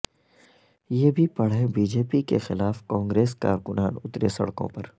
یہ بھی پڑھیں بی جے پی کے خلاف کانگریس کارکنان اترے سڑکوں پر